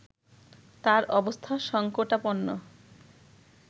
তার অবস্থা সংকটাপন্ন